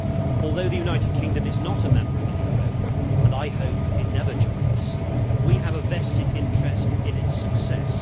Although the United Kingdom is not a member of the euro and I hope it never joins we have a vested interest in its success.